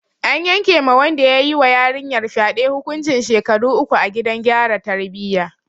An yanke ma wanda ya yi wa yarinyar fyade hukuncin shekaru uku a gidan gyara tarbiyya.